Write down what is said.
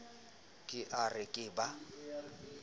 ke a re ke ba